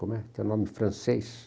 Como é, que é um nome francês.